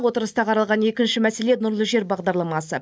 отырыста қаралған екінші мәселе нұрлы жер бағдарламасы